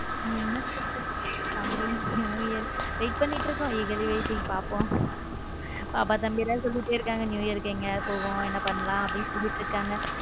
என்ன special coming new year wait பண்ணிக்கிட்டு இருக்கோம legal waiting பார்ப்போம் பாபா தம்பிலாம் சொல்லிட்டே இருகாங்க new year எங்கையாவது போவோம் ஏதாவது பண்ணலாம்னு சொல்லிட்டு இருக்காங்க.